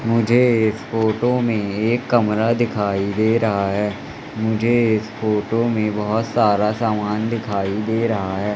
मुझे इस फोटो में एक कमरा दिखाई दे रहा है। मुझे इस फोटो में बहोत सारा सामान दिखाई दे रहा है।